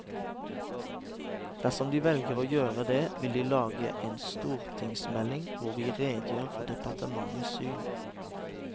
Dersom de velger å gjøre det, vil vi lage en stortingsmelding hvor vi redegjør for departementets syn.